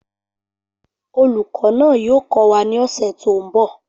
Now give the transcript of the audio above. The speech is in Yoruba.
Olùkọ́ náà yóò kọ́ wa ní ọ̀sẹ̀ tó ń bọ̀